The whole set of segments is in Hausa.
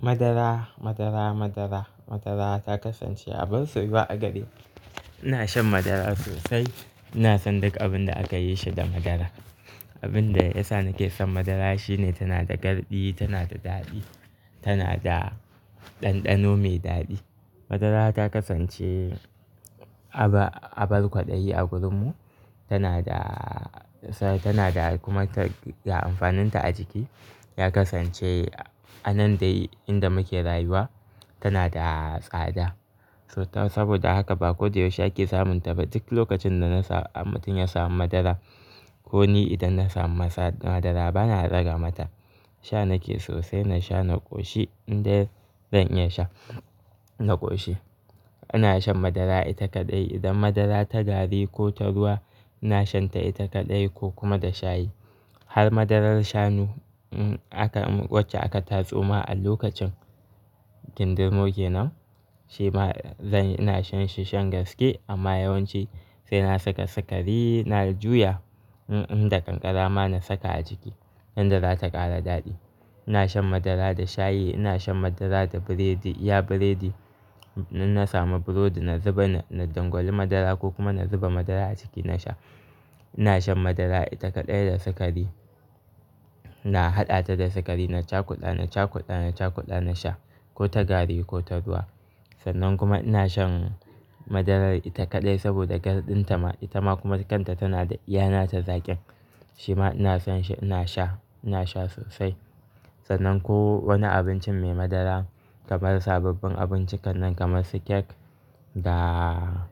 Madara, madara, madara, madara ta kasance abun soyuwa a gareni. Ina shan madara sosai. Ina son duk abin da aka yi shi da madara. Abin da ya sa nake son madara shine tana da garɗi, tana da daɗi, tana da ɗanɗano mai daɗi. Madara ta kasance aba-abar kwaɗayi a gurinmu. Tana da, tana da kuma ta, da amfaninta a jiki, ya kasance a nan dai inda muke rayuwa, tana da tsada. So ta, saboda haka ba ko da yaushe ake samunta ba. Duk lokacin da na sa, mutum ya samu madara ko ni idan na samu madara bana daga mata. Sha nake sosai, na sha na ƙoshi. Indai zan iya sha, na ƙoshi. Ina shan madara ita kaɗai. Idan madara ta gari ko ta ruwa, ina shanta ita kaɗai ko kuma da shayi. Har madarar shanu, um, aka, wacce aka tatsoma a lokacin kindirmo kenan, shi ma zan, ina shan shi shan gaske amma yawanci sai na saka sukari, na juya, um, inda kankara ma na saka a jiki yanda za ta ƙara daɗi. Ina shan madara da shayi, ina shan madara da biredi, iya biredi. In na samu burodi, na zuba na dangwali madara ko kuma na zuba madara a ciki na sha. Ina shan madara ita kaɗai da sukari. Na haɗa ta da sukari, na caka ƙuda, na caka ƙuda, na caka ƙuda na sha ko ta gari ko ta ruwa. Sannan kuma ina shan madarar ita kaɗai saboda garɗinta ma, ita ma kuma kanta tana da iyana ta zaƙin. Shi ma ina son shi, ina sha, ina sha sosai. Sannan ko wani abincin mai madara kamar sabbin abinci kal nan kamar su kek da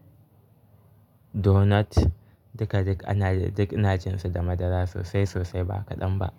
donut, duk da duk ana, duk ina jinsu da madara sosai, sosai ba kaɗan ba.